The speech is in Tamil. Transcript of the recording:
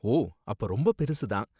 ஓ, அப்ப ரொம்ப பெருசு தான்.